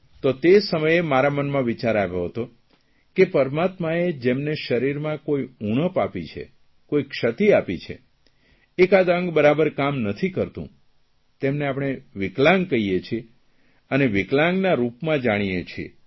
તો તે સમયે મારા મનમાં વિચાર આવ્યો હતો કે પરમાત્માએ જેમને શરીરમાં કોઇ ઉણપ આપી છે કોઇ ક્ષતિ આપી છે એકાદ અંગ બરાબર કામ મથી કરતું તેમને પણે વિકલાંગ કહીએ છીએ અને વિકલાંગના રૂપમાં જાણીએ છીએ